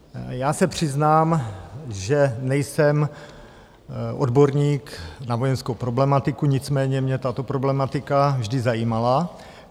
Já se přiznám, že nejsem odborník na vojenskou problematiku, nicméně mě tato problematika vždy zajímala.